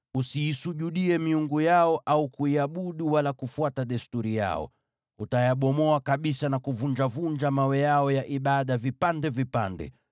Usiisujudie miungu yao, au kuiabudu, wala kufuata desturi yao. Utayabomoa kabisa na kuvunjavunja mawe yao ya ibada vipande vipande.